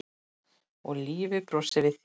Og lífið brosir við þér!